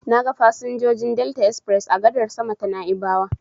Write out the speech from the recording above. Na ga fasinjojin Delta express a gadar sama ta Na'ibawa.